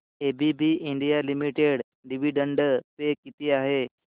ABB India limited dividend pay किती आहे